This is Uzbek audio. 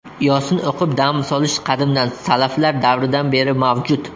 Yosin o‘qib dam solish qadimdan, salaflar davridan beri mavjud.